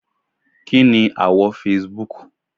Kí ni àwọ̀ Facebook?